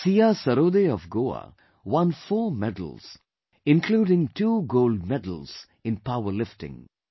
Siya Sarode of Goa won 4 medals including 2 Gold Medals in power lifting